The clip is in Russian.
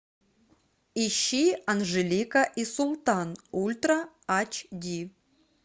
ищи анжелика и султан ультра ач ди